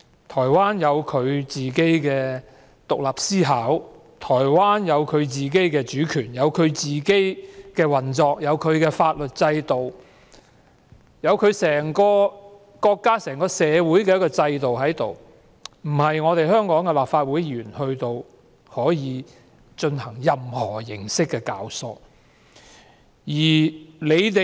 台灣有其獨立思考，有其主權，有其自行運作，有其法律制度，有其整個國家和整體社會的制度，並非香港立法會議員可以左右。